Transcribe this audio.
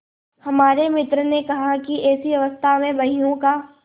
हमारे मित्र ने कहा कि ऐसी अवस्था में बहियों का